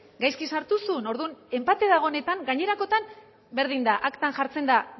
gaizki sartu zuen orduan enpate dagoenetan gainerakoetan berdin da aktan jartzen da